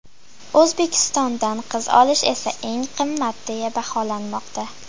O‘zbekistondan qiz olish esa eng qimmat deya baholanmoqda.